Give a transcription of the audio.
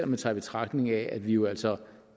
man tager i betragtning at vi jo altså